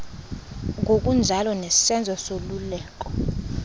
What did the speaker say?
ngokunjalo nesenzo soluleko